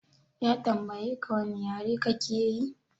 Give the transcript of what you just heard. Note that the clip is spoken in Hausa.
Ya tambayeka wane yare kake yi?